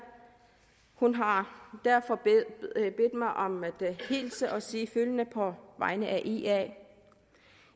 hun har derfor bedt mig om at hilse og sige følgende på vegne af ia